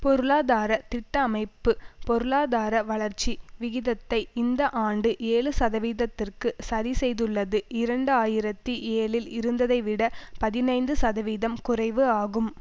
பொருளாதார திட்ட அமைப்பு பொருளாதார வளர்ச்சி விகிதத்தை இந்த ஆண்டு ஏழு சதவீதத்திற்கு சரி செய்துள்ளது இரண்டு ஆயிரத்தி ஏழில் இருந்ததை விட பதினைந்து சதவீதம் குறைவு ஆகும்